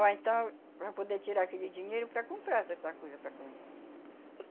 Ou então, para poder tirar aquele dinheiro para comprar essas coisas para comer.